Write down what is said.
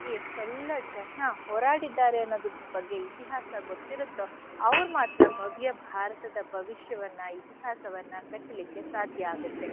ಎಷ್ಟೆಲ್ಲ ಜನ ಹೋರಾಡಿದ್ದಾರೆ ಅನ್ನೋದ್ರ ಬಗ್ಗೆ ಇತಿಹಾಸ ಗೊತ್ತಿರತ್ತೋ ಅವ್ರ್ ಮಾತ್ರ ಭವ್ಯ ಭಾರತದ ಭವಿಷ್ಯವನ್ನ ಇತಿಹಾಸವನ್ನ ಕಟ್ಟಲಿಕ್ಕೆ ಸಾಧ್ಯ ಆಗತ್ತೆ.